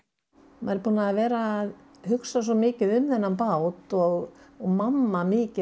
maður er búinn að vera að hugsa svo mikið um þennan bát og mamma mikið